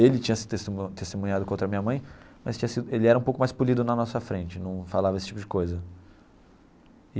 Ele tinha se testemu testemunhado contra a minha mãe, mas tinha sido ele era um pouco mais polido na nossa frente, num falava esse tipo de coisa.